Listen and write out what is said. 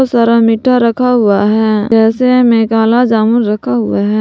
सारा मीठा रखा हुआ है जैसे में काला जामुन रखा हुआ है।